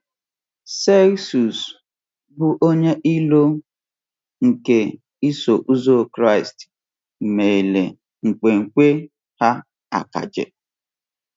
Celsus, bụ́ onye iro nke Iso Ụzọ Kraịst, mere nkwenkwe ha akaje.